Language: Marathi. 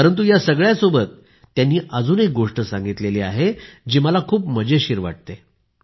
परंतु या सगळ्यासोबत त्यांनी अजून एक गोष्ट सांगितली आहे जी मला खूप मजेशीर वाटते